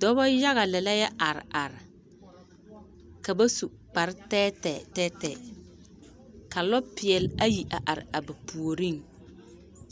Dɔbɔ yaga lɛ la yɛ are are ka ba su kparr tɛɛtɛɛ tɛɛtɛɛ ka lɔpeɛl ayi a are a ba puoreŋ